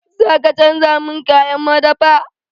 Za ka canja min kayan madafa?